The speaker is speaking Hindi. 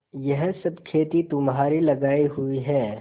यह सब खेती तुम्हारी लगायी हुई है